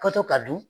Kɔtɔ ka don